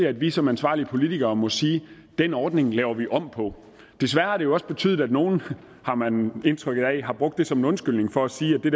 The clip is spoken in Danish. at vi som ansvarlige politikere må sige den ordning laver vi om på desværre har det jo også betydet at nogle har man indtryk af har brugt det som en undskyldning for at sige at det